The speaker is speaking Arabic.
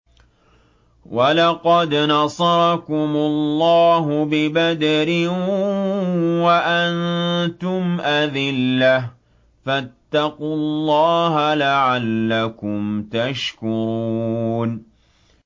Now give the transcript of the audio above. وَلَقَدْ نَصَرَكُمُ اللَّهُ بِبَدْرٍ وَأَنتُمْ أَذِلَّةٌ ۖ فَاتَّقُوا اللَّهَ لَعَلَّكُمْ تَشْكُرُونَ